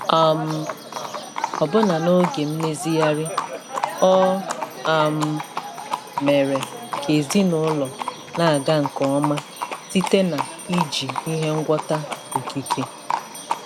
um Ọbụna n'oge mmezigharị, o um mere ka ezinụlọ na-aga nke ọma site na iji ihe ngwọta okike.